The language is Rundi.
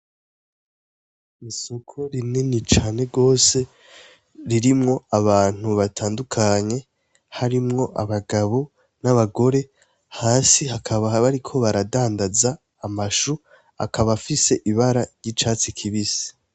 Isoko rinini cane gose ririmwo abantu batandukanye, harimwo abagabo n’abagore, hasi hakaba bariko baradandaza amashu akaba afise ibara ry’icatsi kibisi.